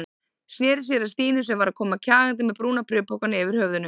Sneri sér að Stínu sem var að koma kjagandi með brúna bréfpokann yfir höfðinu.